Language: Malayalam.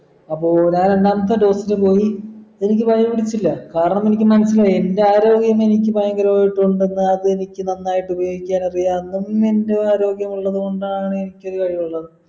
അപ്പൊ ഞാൻ രണ്ടാമത്തെ dose ന് പോയി എനിക്ക് പനി പിടിച്ചില്ല കരാണം മനസിലായി എൻ്റെ ആരോഗ്യം എനിക്ക് ഭയങ്കരയിട്ടുണ്ടെന്ന് അത് എനിക്ക് നന്നായിട്ട് ഉപയോഗിക്കുവാ ആരോഗ്യം ഉള്ളത് കൊണ്ടാണ് കഴിവുള്ളത്